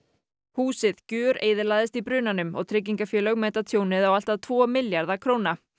húsið gjöreyðilagðist í brunanum og tryggingafélög meta tjónið á allt að tvo milljarða króna